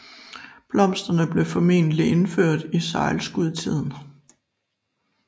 Blomsterne blev formentlig indført i sejlskudetiden